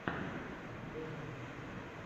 компиляции в ютьюбе